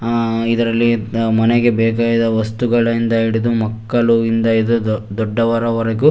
ಆ ಇದರಲ್ಲಿ ಮನೆಗೆ ಬೇಕಾದ ವಸ್ತುಗಳಿಂದ ಹಿಡಿದು ಮಕ್ಕಳಿಂದ ಹಿಡಿದು ದೊಡ್ಡವರ ವರೆಗೂ.